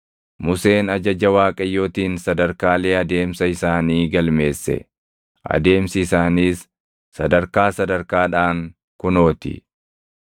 Museen ajaja Waaqayyootiin sadarkaalee adeemsa isaanii galmeesse. Adeemsi isaaniis sadarkaa sadarkaadhaan kunoo ti: